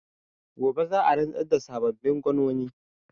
Gobe za a rantsar da sababbin gwanoni.